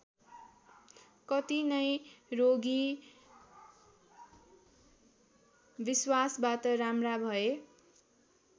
कति नै रोगी विश्वासबाट राम्रा भए।